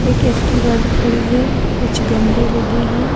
एक एक्टिवा भी खड़ी है कुछ गमले लगे हैं।